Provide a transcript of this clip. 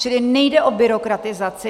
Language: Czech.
Čili nejde o byrokratizaci.